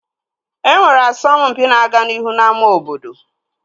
E nwere asọmpi na-aga n'ihu n'ámá obodo